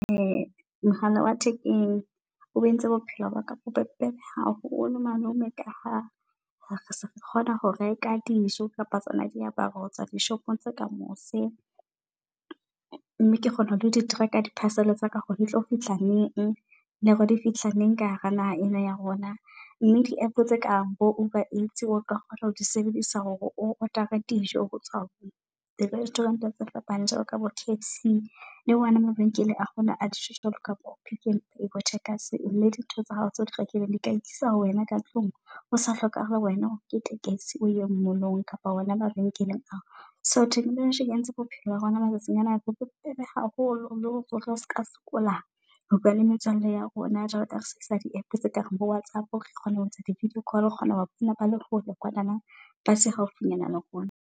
Mohala wa thekeng o entse bophelo ba ka bobe bo bebeb haholo malome ka ha se re kgona ho reka dijo kapa tsona diaparo hotswa di shopong tse ka mose. Mme ke kgona ho di tracker. Di parcel tsa ka hore di tlo fihla neng le hore di fihla neng ka hara naha ena ya rona. Mme app-o tse kang bo over eight, o ka kgona ho di sebedisa hore order-a dijo hotswa di restaurant tse fapaneng. Jwalo ka bo K_F_C le wona mabenkele a hona a di tjho jwalo kabo, Pick n Pay Checkers. Le di ntho tsa hao tsa di rekileng di ka e tlisa ho wena ka tlung o sa hlokahale, wena o nkete tekesi o ye molong kapa hona mabenkeleng ao. So technology e entse bophelo ba rona matsatsing ana bo be bobebe haholo le hore o ska sokola ho bua le metswalle ya rona, jwalo ka re sebedisa di app tse kareng bo WhatsApp. Re kgona ho etsa di video call, re kgona ho ba founela bale hole kwanana ba se haufinyana le rona.